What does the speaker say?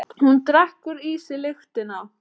Hún drekkur í sig lyktina.